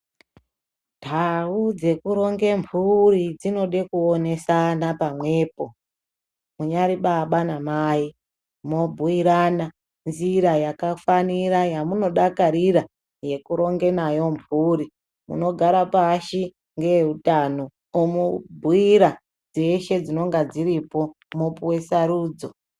Ntau dzekuronge mphuri dzinode kunonesana pamwepo, unyari baba namai mwobhuirana nzira yakafanira, yamunodakarira yekurongenayo mphuri .Munogare pashi ngeutano, omubhuira dzeshe dzinonga dziripo mwopuwe sarudzo.